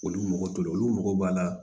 Olu mago t'o la olu mago b'a la